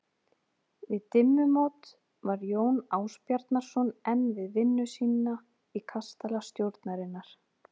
Við dimmumót var Jón Ásbjarnarson enn við vinnu sína í kastala stjórnarinnar.